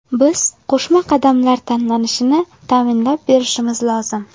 Biz qo‘shma qadamlar tashlanishini ta’minlab berishimiz lozim.